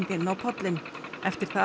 inn á pollinn eftir það